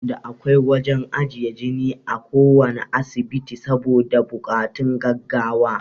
Da akwai wajan ajiye jine a kuwanna asibiti saboda bokatun gaggawa